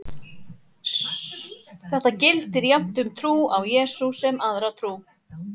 Þetta gildir jafnt um trú á Jesú sem aðra trú.